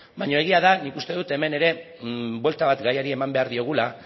baino egia da nik uste dut hemen ere buelta bat gaiari eman behar diogula